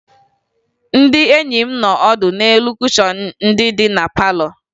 Ndị enyi m nọ ọdụ n'elu kushọn ndị dị na palọ